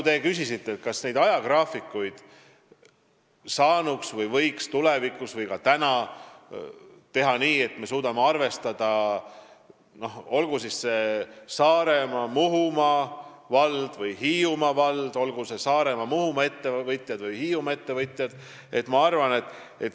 Te küsisite, kas ajagraafikuid võiks tulevikus või juba praegu teha nii, et me suudame arvestada Saaremaa, Muhumaa või Hiiumaa valla ettevõtjate huve.